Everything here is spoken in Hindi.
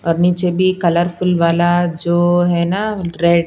और नीचे भी कलरफुल वाला जो है ना रेड --